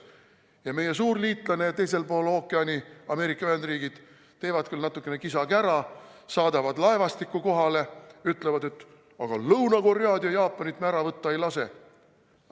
Ja meie suur liitlane teisel pool ookeani, Ameerika Ühendriigid, teeb küll natukene kisa-kära, saadab laevastiku kohale ja ütleb, et aga Lõuna-Koread ja Jaapanit me ära võtta ei lase.